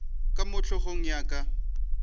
ka mo hlogong ya ka